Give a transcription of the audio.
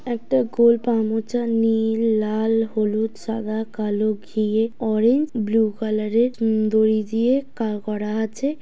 একটা গোল পা মোছা নীল লাল হলুদ সাদা কালো ঘিয়ে অরেঞ্জ ব্লু কালার এর উ দড়ি দিয়ে কা-করা আছে।